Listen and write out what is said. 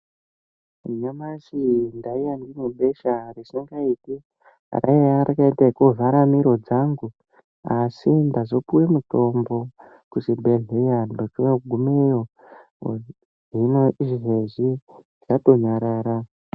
Nyamashi ndaiya ndine besha risingaiti. Raiye rakaite kuvhara miro dzangu, asi ndazopuwe mutombo ku chibhedhlera, ndochogumeyo, hino izvezvi ratonyarara.